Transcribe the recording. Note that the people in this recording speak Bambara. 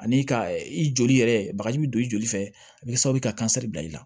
Ani ka i joli yɛrɛ bagaji bɛ don i joli fɛ a bɛ kɛ sababu ye ka bila i la